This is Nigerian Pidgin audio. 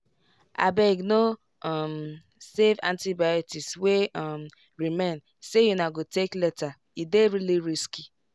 abegno um save antibiotics wey um remain say una go take latere dey really risky.